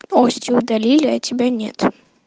новости удалили а тебя нет